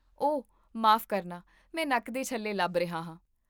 ਓਹ, ਮਾਫ ਕਰਨਾ, ਮੈਂ ਨੱਕ ਦੇ ਛੱਲੇ ਲੱਭ ਰਿਹਾ ਹਾਂ